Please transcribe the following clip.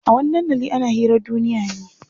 A wani dandalin ana hirar duniya ne.